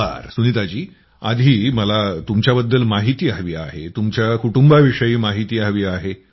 बरं सुनीताजी आधी मला तुमच्याबद्दल माहिती हवी आहे तुमच्या कुटुंबाविषयी माहिती हवी आहे